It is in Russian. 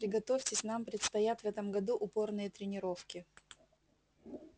приготовьтесь нам предстоят в этом году упорные тренировки